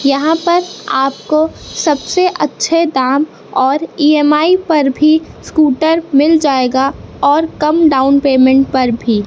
यहां पर आपको सबसे अच्छे दाम और ई_एम_आई पर भी स्कूटर मिल जाएगा और कम डाउन पेमेंट पर भी।